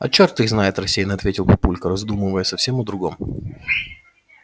а чёрт их знает рассеяно ответил папулька раздумывая совсем о другом